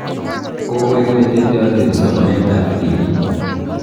Kokoek ne teteanjin somanet ab tibiik